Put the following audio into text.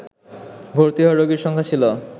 ভর্তি হওয়া রোগীর সংখ্যা ছিল